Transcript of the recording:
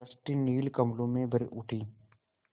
सृष्टि नील कमलों में भर उठी